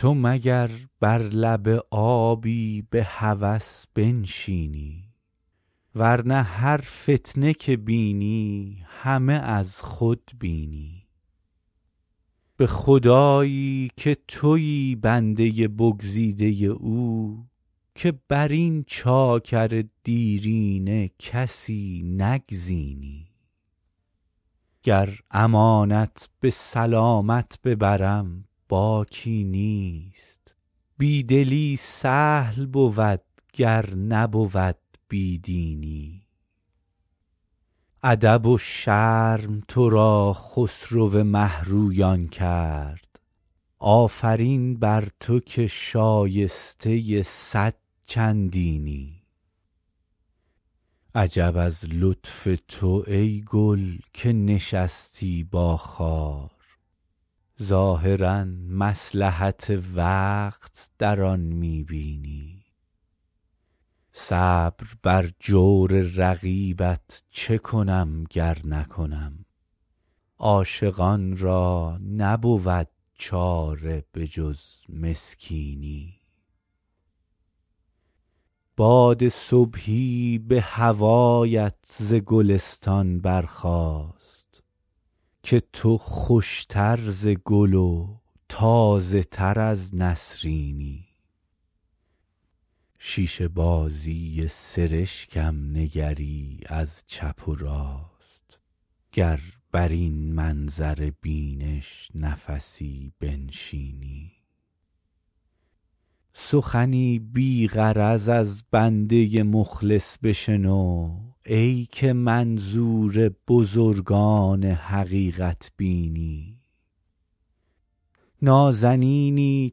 تو مگر بر لب آبی به هوس بنشینی ور نه هر فتنه که بینی همه از خود بینی به خدایی که تویی بنده بگزیده او که بر این چاکر دیرینه کسی نگزینی گر امانت به سلامت ببرم باکی نیست بی دلی سهل بود گر نبود بی دینی ادب و شرم تو را خسرو مه رویان کرد آفرین بر تو که شایسته صد چندینی عجب از لطف تو ای گل که نشستی با خار ظاهرا مصلحت وقت در آن می بینی صبر بر جور رقیبت چه کنم گر نکنم عاشقان را نبود چاره به جز مسکینی باد صبحی به هوایت ز گلستان برخاست که تو خوش تر ز گل و تازه تر از نسرینی شیشه بازی سرشکم نگری از چپ و راست گر بر این منظر بینش نفسی بنشینی سخنی بی غرض از بنده مخلص بشنو ای که منظور بزرگان حقیقت بینی نازنینی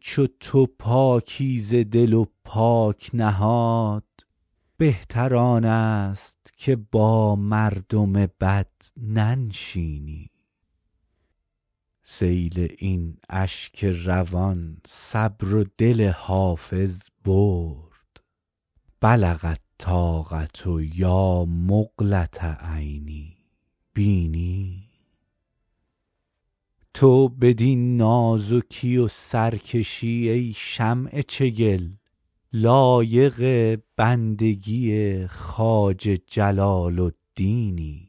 چو تو پاکیزه دل و پاک نهاد بهتر آن است که با مردم بد ننشینی سیل این اشک روان صبر و دل حافظ برد بلغ الطاقة یا مقلة عینی بیني تو بدین نازکی و سرکشی ای شمع چگل لایق بندگی خواجه جلال الدینی